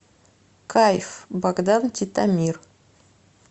кайф богдан титомир